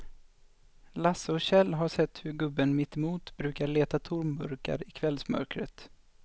Lasse och Kjell har sett hur gubben mittemot brukar leta tomburkar i kvällsmörkret.